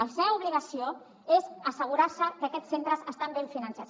la seva obligació és assegurar se que aquests centres estan ben finançats